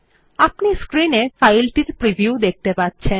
আপনি স্ক্রিন এ ফাইলটির প্রিভিউ দেখতে পাচ্ছেন